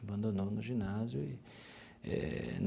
Abandonou no ginásio eh.